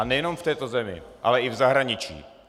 A nejenom v této zemi, ale i v zahraničí.